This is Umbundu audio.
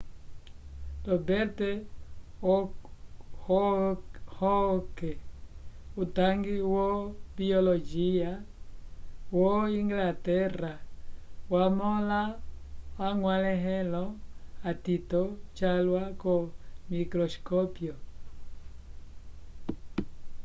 robert hooke utangi wo biologia wo-inglaterra wamõla añgwalẽhelo atito calwa ko-microscópio